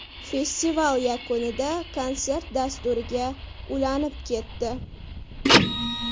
Festival yakunida konsert dasturiga ulanib ketdi.